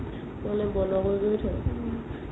নহ'লে বন্ধো কৰি কৰি থই